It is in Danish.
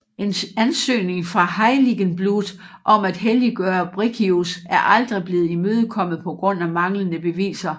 En ansøgning fra Heiligenblut om at helliggøre Briccius er aldrig blevet imødekommet på grund af manglende beviser